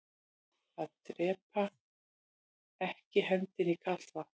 Að drepaa ekki hendinni í kalt vatn